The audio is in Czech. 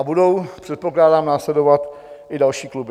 A budou předpokládám následovat i další kluby.